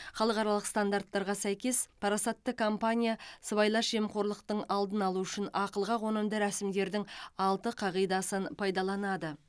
халықаралық стандарттарға сәйкес парасатты компания сыбайлас жемқорлықтың алдын алу үшін ақылға қонымды рәсімдердің алты қағидасын пайдаланады